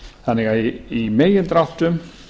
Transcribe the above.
þannig að í megindráttum